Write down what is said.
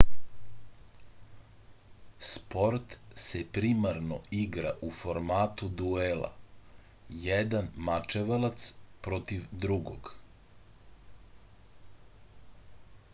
sport se primarno igra u formatu duela jedan mačevalac protiv drugog